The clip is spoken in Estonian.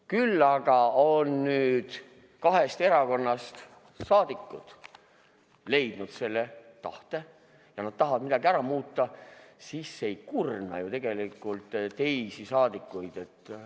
Küll aga on nüüd kahest erakonnast rahvasaadikud leidnud selle tahte ja kui nad tahavad midagi ära muuta, siis ei kurna see ju tegelikult teisi parlamendiliikmeid.